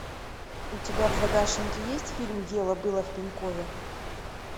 у тебя в загашнике есть фильм дело было в пенькове